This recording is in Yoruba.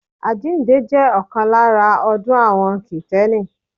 Àjíǹde jẹ́ ọ̀kan lára ọdún àwọn kìtẹ́nì